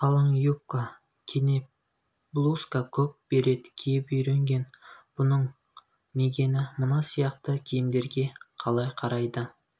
қалың юбка кенеп блузка көк берет киіп үйренген бұның мигэні мына сияқты киімдерге қалай қарайды